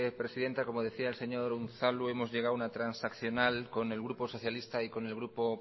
presidenta como decía el señor unzalu hemos llegado a una transaccional con el grupo socialista y con el grupo